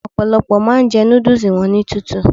Ọ̀pọ̀lọ́pọ̀ máa ń jẹ núdúúsù wọn ní tútù